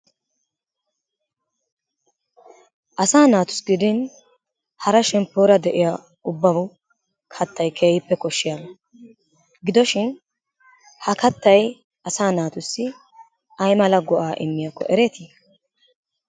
Asaa naatussi gidin hara shempoora de'iya ubbawu kattay keehippe koshiyaba. Gidoshin ha kattay asaa naatussi ay mala go'aa immiyakko ereetii?